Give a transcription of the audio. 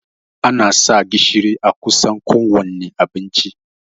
Ana sa gishiri a kusan kowanne abinci